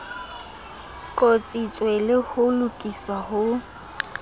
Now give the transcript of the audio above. qotsitswe le ho lokiswa ho